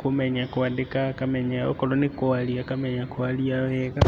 kũmenya kũandĩka akamenya, okorũo nĩ kũaria akamenya kũaria wega.